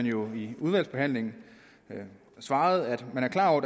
jo i udvalgsbehandlingen svaret at man er klar over at